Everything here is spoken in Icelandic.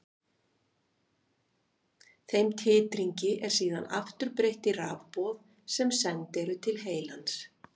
Þeim titringi er síðan aftur breytt í rafboð sem send eru til heilans.